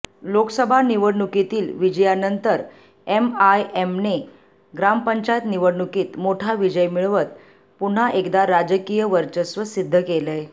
लोकसभा निवडणुकीतील विजयानंतर एमआयएमने ग्रामपंचायत निवडणुकीत मोठा विजय मिळवत पुन्हा एकदा राजकीय वर्चस्व सिद्ध केलय